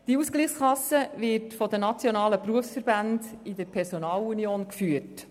Diese Ausgleichskasse wird von den nationalen Berufsverbänden in Personalunion geführt.